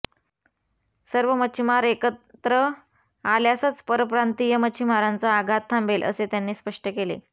सर्व मच्छीमार एकत्र आल्यासच परप्रांतिय मच्छीमारांचा आघात थांबेल असे त्यांनी स्पष्ट केले